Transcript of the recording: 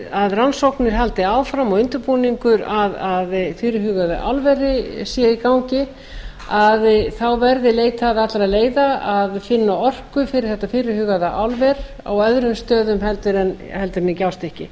að rannsóknir haldi áfram og undirbúningur að fyrirhuguðu álveri sé í gangi að þá verði leitað allra leiða að finna orku fyrir þetta fyrirhugaða álver á öðrum stöðum heldur en